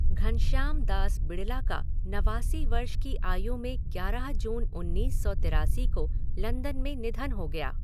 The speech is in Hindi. घनश्याम दास बिड़ला का नवासी वर्ष की आयु में ग्यारह जून उन्नीस सौ तिरासी को लंदन में निधन हो गया।